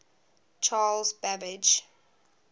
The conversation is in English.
charles babbage